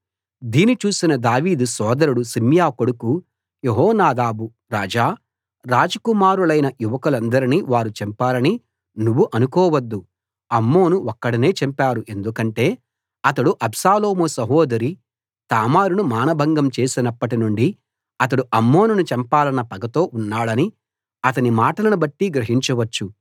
దీని చూసిన దావీదు సోదరుడు షిమ్యా కొడుకు యెహోనాదాబు రాజా రాజకుమారులైన యువకులందరినీ వారు చంపారని నువ్వు అనుకోవద్దు అమ్నోను ఒక్కడినే చంపారు ఎందుకంటే అతడు అబ్షాలోము సహోదరి తామారును మానభంగం చేసినప్పటి నుండి అతడు అమ్నోనును చంపాలన్న పగతో ఉన్నాడని అతని మాటలనుబట్టి గ్రహించవచ్చు